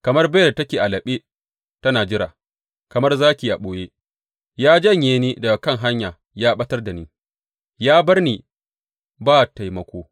Kamar beyar da take a laɓe tana jira, kamar zaki a ɓoye, ya janye ni daga kan hanya ya ɓatar da ni ya bar ni ba taimako.